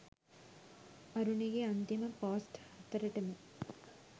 අරුණිගෙ අන්තිම පෝස්ට් හතරටම